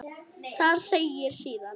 Þar segir síðan